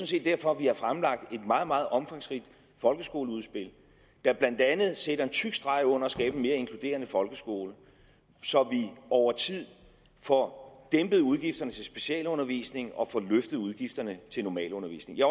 set derfor vi har fremlagt et meget meget omfangsrigt folkeskoleudspil der blandt andet sætter en tyk streg under at skabe en mere inkluderende folkeskole så vi over tid får dæmpet udgifterne til specialundervisning og får løftet udgifterne til normalundervisning jeg